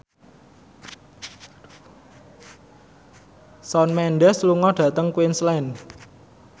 Shawn Mendes lunga dhateng Queensland